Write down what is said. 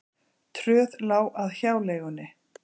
Tröð lá að hjáleigunni.